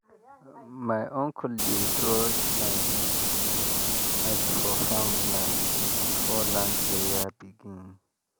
my uncle dey draw line with um ash for farm land before land prayer begin. um